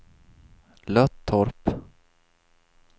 Löttorp